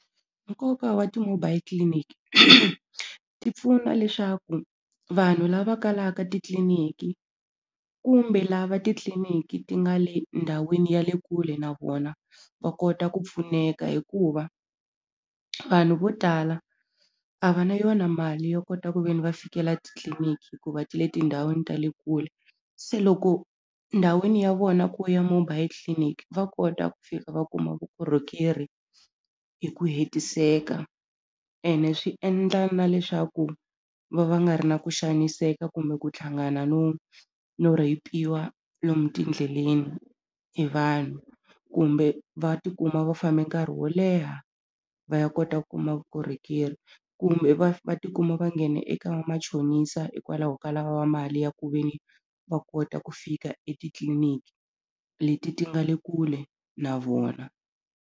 Nkoka wa ti-mobile clinic ti pfuna leswaku vanhu lava kalaka titliliniki kumbe lava titliliniki ti nga le ndhawini ya le kule na vona va kota ku pfuneka hikuva vanhu vo tala a va na yona mali yo kota ku ve ni va fikela titliliniki hikuva ti le tindhawini ta le kule se loko ndhawini ya vona ku ya mobile tliliniki va kota ku fika va kuma vukorhokeri hi ku hetiseka ene swi endla na leswaku va va nga ri na ku xaniseka kumbe ku tlhangana no no rheyipiwa lomu tindleleni hi vanhu kumbe va tikuma va fambe nkarhi wo leha va ya kota ku kuma vukorhokeri kumbe va va tikuma va nghena eka vamachonisa hikwalaho ka lava mali ya ku ve ni va kota ku fika etitliliniki leti ti nga le kule na vona.